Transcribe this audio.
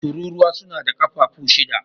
Tururuwa suna da kafafu shida.